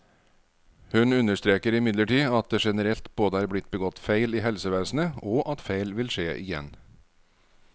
Hun understreker imidlertid at det generelt både er blitt begått feil i helsevesenet, og at feil vil skje igjen.